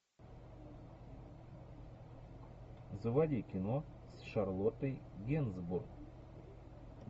заводи кино с шарлоттой генсбур